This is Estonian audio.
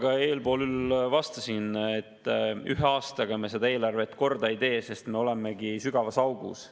Ka eespool juba vastasin, et ühe aastaga me eelarvet korda ei tee, sest me olemegi sügavas augus.